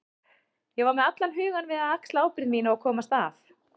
Ég var með allan hugann við að axla ábyrgð mína og komast af.